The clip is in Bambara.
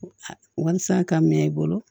Walasa ka minɛ i bolo